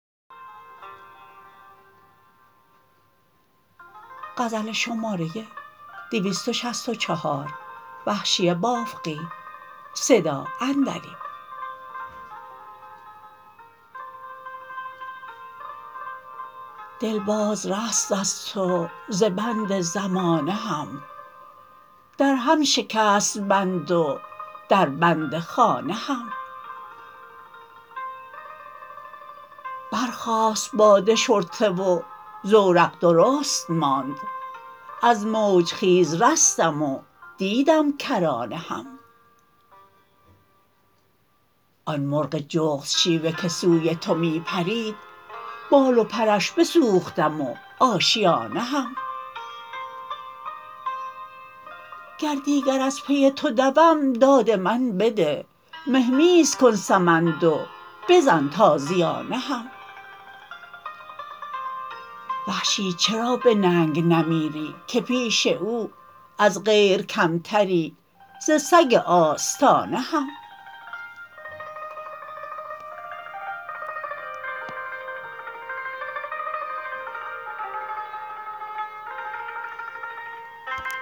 دل باز رست از تو ز بند زمانه هم در هم شکست بند و در بند خانه هم برخاست باد شرطه و زورق درست ماند از موج خیز رستم و دیدم کرانه هم آن مرغ جغد شیوه که سوی تو می پرید بال و پرش بسوختم و آشیانه هم گر دیگر از پی تو دوم داد من بده مهمیز کن سمند و بزن تازیانه هم وحشی چرا به ننگ نمیری که پیش او از غیر کمتری ز سگ آستانه هم